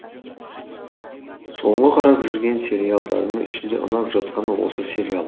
соңғы қарап жүрген сериалдарымның ішінде ұнап жатқаны осы сериал